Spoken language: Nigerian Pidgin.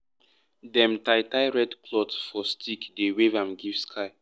dem tie tie red cloth for stick dey wave am give sky.